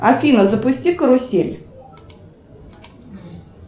афина запусти карусель